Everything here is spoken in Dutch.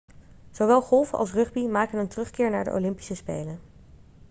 zowel golfen als rugby maken een terugkeer naar de olympische spelen